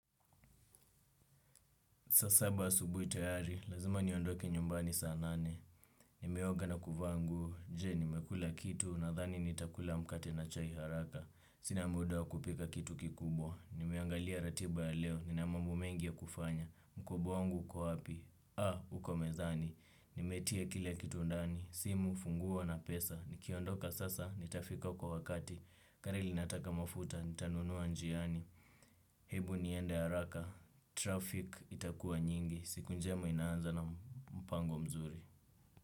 Saa saba asubuhi tayari lazima niondoke nyumbani saa nane nimeoga na kuvaa nguo je, nimekula kitu? Nadhani nitakula mkate na chai haraka. Sina muda wa kupika kitu kikubwa. Nimeangalia ratiba ya leo, nina mambo mengi ya kufanya. Mkoba wangu uko wapi? Uko mezani. Nimetia kile kitu ndani, simu, funguo na pesa. Nikiondoka sasa, nitafika kwa wakati. Kari linataka mafuta, nitanunua njiani. Hebu niende haraka. Traffic itakua nyingi. Siku njema inaanza na mpango mzuri.